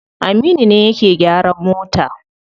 Aminu ne yake gyaran mota.